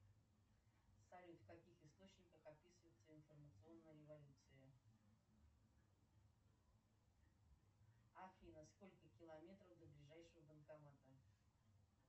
салют в каких источниках описывается информационная революция афина сколько километров до ближайшего банкомата